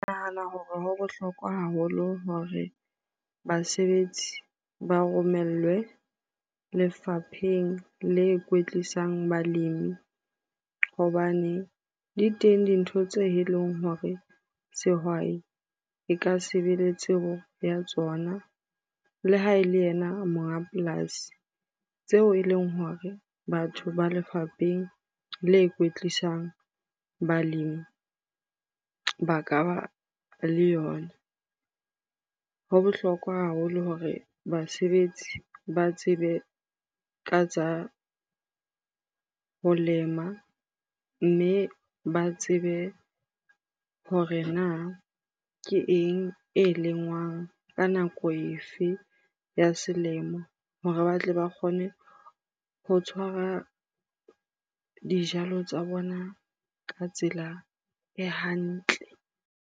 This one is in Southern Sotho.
Ke nahana hore ho bohlokwa haholo hore basebetsi ba romellwe lefapheng le kwetlisang balemi hobane di teng dintho tse e leng hore sehwai e ka sebe le tsebo ya tsona. Le ha e le yena monga polasi tseo e leng hore batho ba lefapheng le kwetlisang balemi ba ka ba le yona. Ho bohlokwa haholo hore basebetsi ba tsebe ka tsa ho lema mme ba tsebe hore na ke eng e lengwang? Ka nako efe ya selemo hore batle ba kgone ho tshwara dijalo tsa bona ka tsela e hantle.